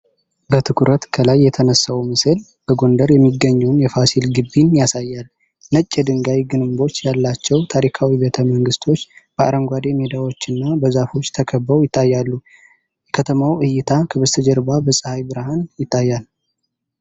በትኩረት ከላይ የተነሳው ምስል በጎንደር የሚገኘውን የፋሲል ግቢን ያሳያል። ነጭ የድንጋይ ግንቦች ያላቸው ታሪካዊ ቤተ መንግስቶች በአረንጓዴ ሜዳዎችና በዛፎች ተከበው ይታያሉ፤ የከተማው እይታ ከበስተጀርባ በፀሐይ ብርሃን ይታያል።